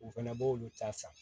U fɛnɛ b'olu ta san